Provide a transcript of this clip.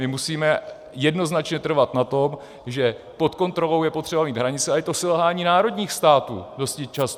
My musíme jednoznačně trvat na tom, že pod kontrolou je potřeba mít hranice, a je to selhání národních států dosti často.